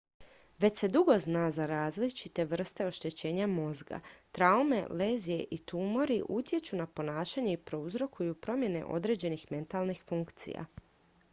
već se dugo zna da različite vrste oštećenja mozga traume lezije i tumori utječu na ponašanje i uzrokuju promjene određenih mentalnih funkcija